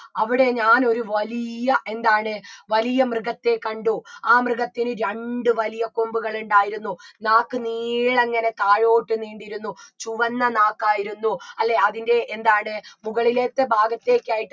അവിടെ ഞാനൊരു വലിയ എന്താണ് വലിയ മൃഗത്തെ കണ്ടു ആ മൃഗത്തിന് രണ്ട് വലിയ കൊമ്പുകൾ ഉണ്ടായിരുന്നു നാക്ക് നീളെ ഇങ്ങനെ താഴോട്ട് നീണ്ടിരുന്നു ചുവന്ന നാക്കായിരുന്നു അല്ലേ അതിൻറെ എന്താണ് മുകളിലത്തെ ഭാഗത്തേക്കായിട്ട്